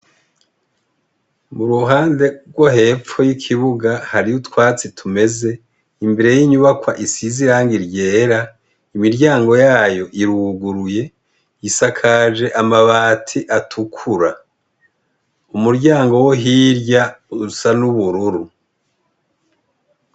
Mu ruhande rwo hepfo y'ikibuga hariho utwatsi tumeze imbere y'inyubakwa isizi iranga iryera imiryango yayo iruguruye isakaje amabati atukura, umuryango wo hirya usa n'ubururu.